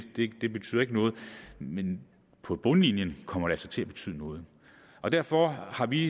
ikke betyder noget men på bundlinjen kommer det altså til at betyde noget derfor har vi